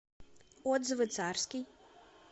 отзывы царский